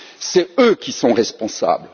Ce sont eux qui sont responsables.